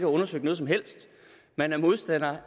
undersøgt noget som helst man er modstandere